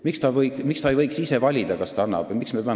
Miks ta ei võiks ise valida, kas ta teeb seda?